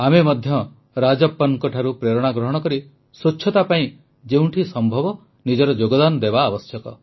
ଆମେ ମଧ୍ୟ ରାଜପ୍ପନଙ୍କଠାରୁ ପ୍ରେରଣା ଗ୍ରହଣ କରି ସ୍ୱଚ୍ଛତା ପାଇଁ ଯେଉଁଠି ସମ୍ଭବ ନିଜର ଯୋଗଦାନ ଦେବା ଆବଶ୍ୟକ